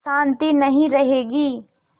शान्ति नहीं रहेगी